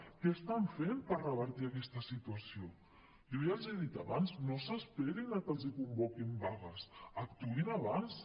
què estan fent per revertir aquesta situació jo ja els hi he dit abans no s’esperin a que els convoquin vagues actuïn abans